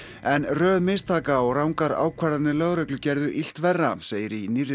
en röð mistaka og rangar ákvarðanir lögreglu gerðu illt verra segir í nýrri